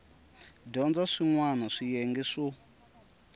dyondza swin wana swiyenge swo